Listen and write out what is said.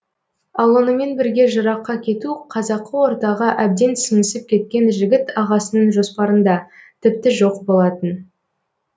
ал онымен бірге жыраққа кету қазақы ортаға әбден сіңісіп кеткен жігіт ағасының жоспарында тіпті жоқ болатын